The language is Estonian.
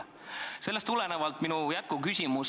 " Sellest tuleneb minu jätkuküsimus.